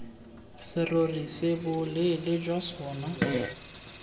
serori se boleele jwa sona